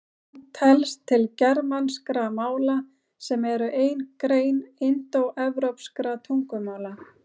Hún telst til germanskra mála sem eru ein grein indóevrópskra tungumála.